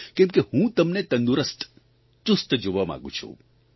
કેમ કે હું તમને તંદુરસ્ત ચુસ્ત જોવા માંગું છું